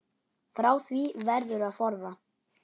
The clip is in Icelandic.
Frá því verður að forða.